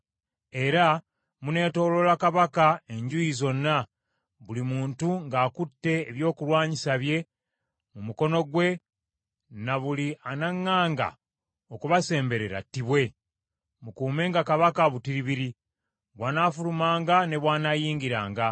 Era muneetooloola kabaka enjuuyi zonna, buli muntu ng’akutte ebyokulwanyisa bye mu mukono gwe, ne buli anaŋŋaanga okubasemberera attibwe. Mukuumenga kabaka butiribiri, bw’anaafulumanga ne bw’anaayingiranga.”